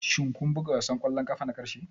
Shin kun buga wasan ƙwallon ƙafa na ƙarshe?